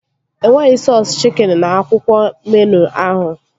E nweghị sọọsu chikin n'akwụkwọ meenụ ahụ